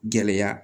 Gɛlɛya